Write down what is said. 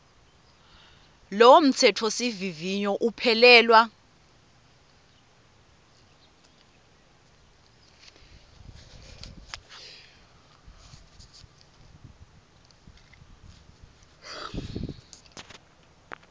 lowo mtsetfosivivinyo uphelelwa